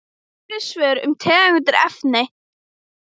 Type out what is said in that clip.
Fleiri svör um tengd efni